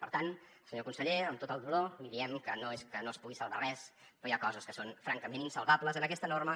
per tant senyor conseller amb tot el dolor li diem que no és que no es pugui salvar res però hi ha coses que són francament insalvables en aquesta norma